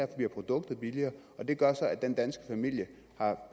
bliver produktet billigere det gør så at den danske familie har